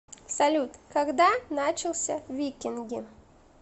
салют когда начался викинги